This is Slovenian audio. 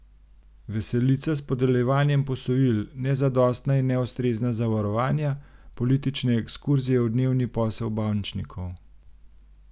Veselica s podeljevanjem posojil, nezadostna in neustrezna zavarovanja, politične ekskurzije v dnevni posel bančnikov.